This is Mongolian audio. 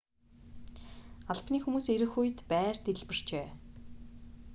албаны хүмүүс ирэх үед байр дэлбэрчээ